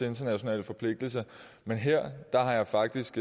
internationale forpligtelser men her har jeg faktisk